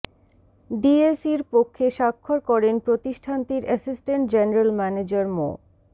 ডিএসইর পক্ষে স্বাক্ষর করেন প্রতিষ্ঠানটির এসিস্ট্যান্ট জেনারেল ম্যানেজার মো